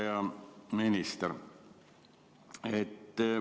Hea minister!